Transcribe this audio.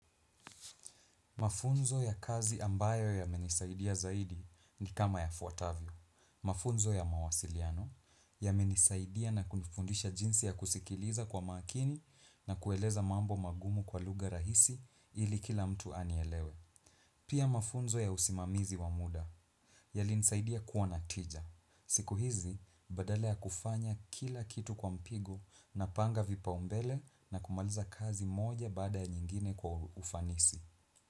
Mafunzo ya kazi ambayo ya menisaidia zaidi ni kama yafuatavyo. Mafunzo ya mawasiliano ya menisaidia na kunifundisha jinsi ya kusikiliza kwa makini na kueleza mambo magumu kwa lugha rahisi ili kila mtu anielewe. Pia mafunzo ya usimamizi wa muda yalinsaidia kuwa na tija. Siku hizi badala ya kufanya kila kitu kwa mpigo na panga vipaumbele na kumaliza kazi moja bada ya nyingine kwa ufanisi.